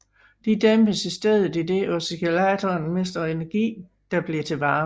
De dæmpes i stedet idet oscillatoren mister energi der bliver til varme